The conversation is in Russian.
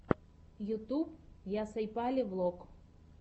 ютюб ясйапали влог